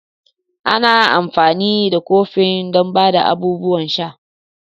Ana amfani da kofin don ba da abubuwan sha.